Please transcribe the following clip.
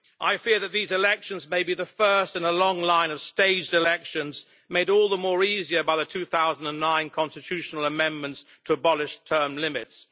I fear that these elections may be the first in a long line of staged elections made all the easier by the 2009 constitutional amendments to abolish term limits.